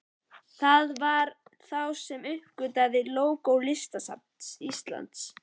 Það var þá sem ég uppgötvaði lógó Listasafns Íslands.